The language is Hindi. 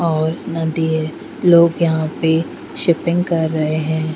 और नदी है लोग यहाँ पे शिपिंग कर रहे है.